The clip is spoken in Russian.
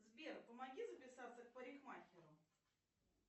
сбер помоги записаться к парикмахеру